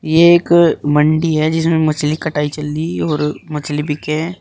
ये एक मंडी है जिसमें मछली कटाई चल रही और मछली बिके हैं।